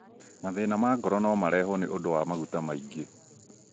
Mathĩna ma ngoro no marehwo nĩ ũndũ wa maguta maingĩ.